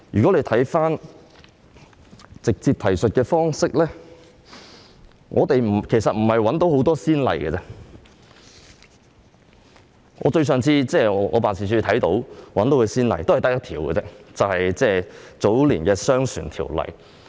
關於直接提述方式，過往並沒有太多先例，我辦事處的職員亦只找到一個，就是早年的《商船條例》。